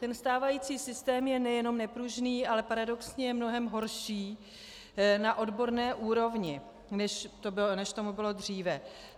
Ten stávající systém je nejenom nepružný, ale paradoxně je mnohem horší na odborné úrovni, než tomu bylo dříve.